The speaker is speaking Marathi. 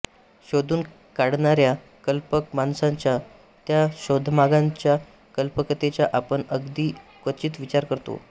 शोधून काढणार्या कल्पक माणसांच्या त्या शोधांमागच्या कल्पकतेचा आपण अगदी क्वचित विचार करतो